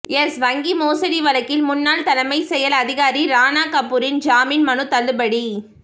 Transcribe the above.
yes வங்கி மோசடி வழக்கில் முன்னாள் தலைமை செயல் அதிகாரி ராணா கபூரின் ஜாமின் மனு தள்ளுபடி